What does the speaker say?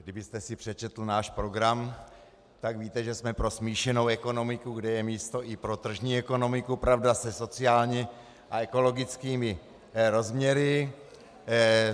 Kdybyste si přečetl náš program, tak víte, že jsme pro smíšenou ekonomiku, kde je místo i pro tržní ekonomiku, pravda se sociálními a ekologickými rozměry.